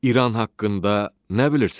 İran haqqında nə bilirsiz?